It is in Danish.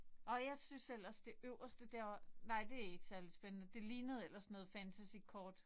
Åh jeg synes eller det øverste der var nej det ikke særlig spændende det lignede ellers noget fantasykort